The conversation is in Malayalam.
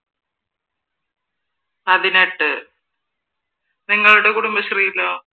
പതിനെട്ട് നിങ്ങളുടെ കുടുംബശ്രീയിലോ?